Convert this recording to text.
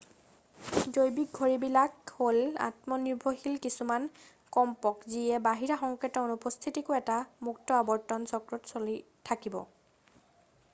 জৈৱিক ঘড়ীবিলাক হ'ল আত্মনিৰ্ভৰশীল কিছুমান কম্পক যিয়ে বাহিৰা সংকেতৰ অনুপস্থিতিতো এটা মুক্ত আৱৰ্তন চক্ৰত চলি থাকিব